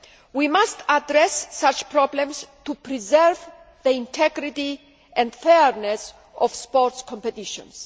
We must address such problems to preserve the integrity and fairness of sports competitions.